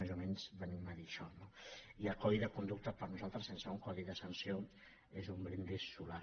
més o menys venim a dir això no i el codi de conducta per nosaltres sense un codi de sanció és un brindis solar